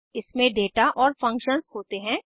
इसमें दाता और फंक्शंस होते हैं